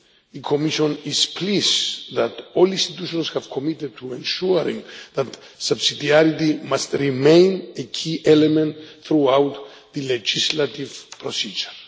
The Commission is pleased that all the institutions have committed to ensuring that subsidiarity must remain a key element throughout the legislative procedure.